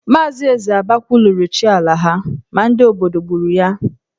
Maazị Esiaba kwuluru chi ala ha ma ndị obodo gburu ya.